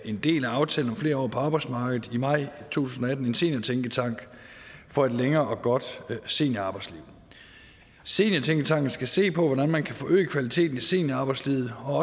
en del af aftale om flere år på arbejdsmarkedet i maj to tusind og atten en seniortænketank for et længere og godt seniorarbejdsliv seniortænketanken skal se på hvordan man kan forøge kvaliteten i seniorarbejdslivet og